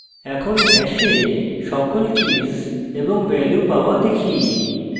এখন hash সকল keys এবং ভ্যালু পাওয়া দেখি